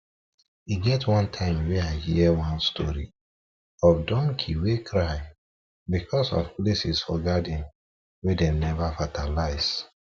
e get one time wey i hear one story of donkey wey cry because of places for garden wey dem never fertilize